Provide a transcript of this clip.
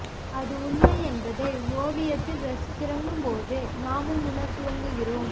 அது உண்மை என்பதை ஒவியத்தில் ரசித்துக் கிறங்கும் போது நாமும் உணரத்துவங்குகிறோம்